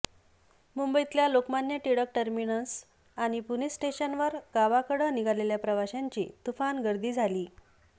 मुंबईतल्या लोकमान्य टिळक टर्मिनस आणि पुणे स्टेशनवर गावाकडं निघालेल्या प्रवाशांची तुफान गर्दी झालीय